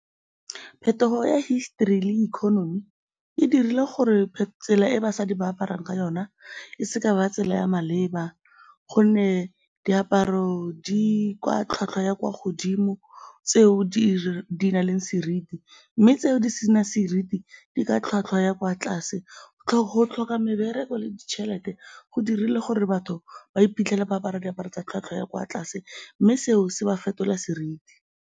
Phetogo ya history le economy e dirile gore tsela e basadi ba aparang ka yona e se ka ya ba tsela ya maleba gonne diaparo di kwa tlhwatlhwa ya kwa godimo tseo di nang le seriti mme tseo di senang seriti di ka tlhwatlhwa ya kwa tlase. Go tlhoka mebereko le ditšhelete go dirile gore batho ba iphitlhele ba apara diaparo tsa tlhwatlhwa ya kwa tlase, mme seo se ba fetola seriti.